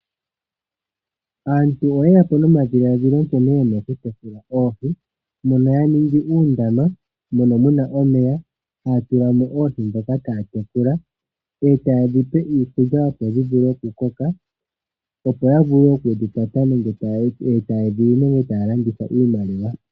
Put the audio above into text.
Aantu oye yapo nomadhiladhilo nkene yena oku tekula oohi. Mono yaningi uundama mono muna omeya taya tulamo oohi ndhoka taya tekula ,etayedhipe iikulya opo dhivule oku koka opo yavule oku dhikwata yo taya landitha iimaliwa.